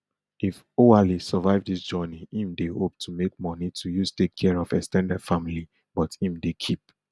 if oualy survive dis journey im dey hope to make money to use take care of ex ten ded family but im dey keep